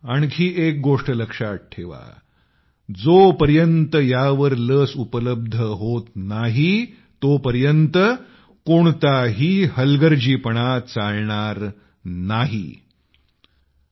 आणखी एक गोष्ट लक्षात ठेवा जोपर्यंत औषध मिळत नाही तोपर्यंत हलगर्जीपणा करू नका